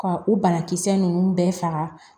Ka u banakisɛ ninnu bɛɛ faga